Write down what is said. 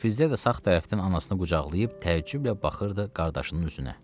Fizzə də sağ tərəfdən anasını qucaqlayıb təəccüblə baxırdı qardaşının üzünə.